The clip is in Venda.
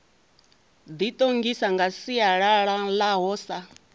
ḓiṱongisa nga sialala ḽaho sa